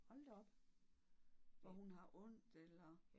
Hold da op. Hvor hun har ondt eller?